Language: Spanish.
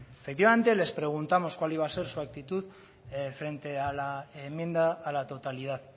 efectivamente les preguntamos cuál iba a ser su actitud frente a la enmienda a la totalidad